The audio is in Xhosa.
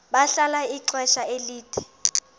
bahlala ixesha elide